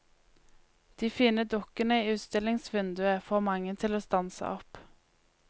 De fine dukkene i utstillingsvinduet får mange til å stanse opp.